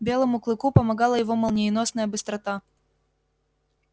белому клыку помогала его молниеносная быстрота